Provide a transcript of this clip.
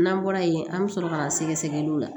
N'an bɔra ye an bɛ sɔrɔ ka na sɛgɛsɛgɛliw la